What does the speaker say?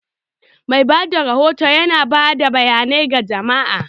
Mai bada rahoto yana ba da bayanai ga jama'a.